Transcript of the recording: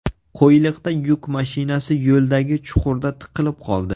Qo‘yliqda yuk mashinasi yo‘ldagi chuqurda tiqilib qoldi.